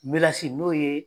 Melesi n'o ye